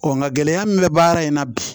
nka gɛlɛya min bɛ baara in na bi